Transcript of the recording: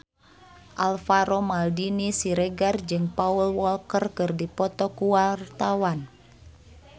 Alvaro Maldini Siregar jeung Paul Walker keur dipoto ku wartawan